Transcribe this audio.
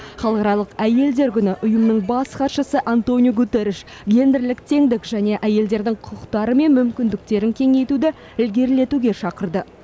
халықаралық әйелдер күні ұйымның бас хатшысы антониу гутерриш гендерлік теңдік және әйелдердің құқықтары мен мүмкіндіктерін кеңейтуді ілгерілетуге шақырды